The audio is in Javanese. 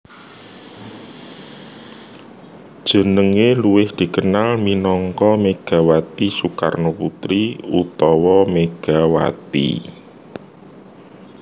Jenengé luwih dikenal minangka Megawati Soekarnoputri utawa Megawati